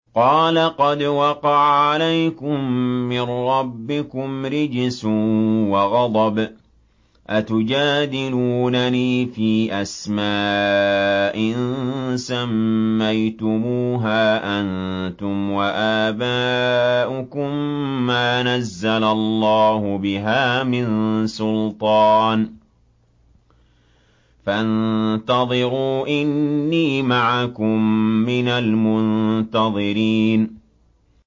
قَالَ قَدْ وَقَعَ عَلَيْكُم مِّن رَّبِّكُمْ رِجْسٌ وَغَضَبٌ ۖ أَتُجَادِلُونَنِي فِي أَسْمَاءٍ سَمَّيْتُمُوهَا أَنتُمْ وَآبَاؤُكُم مَّا نَزَّلَ اللَّهُ بِهَا مِن سُلْطَانٍ ۚ فَانتَظِرُوا إِنِّي مَعَكُم مِّنَ الْمُنتَظِرِينَ